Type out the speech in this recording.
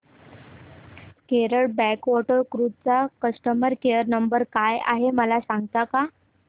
Kerala backwater cruise चा customer care number काय आहे मला सांगता का